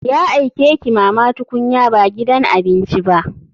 Ya aike ki mama tukunya ba gidan abinci ba.